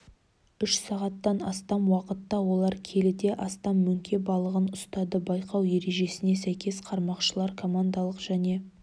үш сағаттан астам уақытта олар келіден астам мөңке балығын ұстады байқау ережесіне сәйкес қармақшылар командалық және